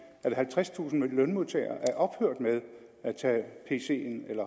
at halvtredstusind lønmodtagere er ophørt med at tage pc’en